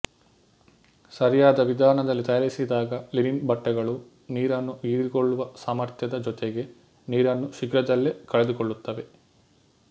ಸರಿಯಾದ ವಿಧಾನದಲ್ಲಿ ತಯಾರಿಸಿದಾಗ ಲಿನಿನ್ ಬಟ್ಟೆಗಳು ನೀರನ್ನು ಹೀರಿಕೊಳ್ಳುವ ಸಾಮರ್ಥ್ಯದ ಜೊತೆಗೆ ನೀರನ್ನು ಶೀಘ್ರದಲ್ಲೇ ಕಳೆದುಕೊಳ್ಳುತ್ತವೆ